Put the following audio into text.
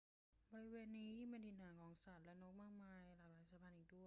บริเวณนี้ยังเป็นถิ่นฐานของสัตว์และนกมากมายหลายหลากสายพันธุ์อีกด้วย